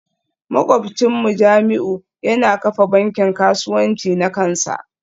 Makwabcinmu Jamiu yana kafa bankin kasuwanci na kansa